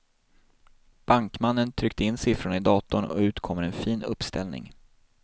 Bankmannen trycker in siffrorna i datorn och ut kommer en fin uppställning.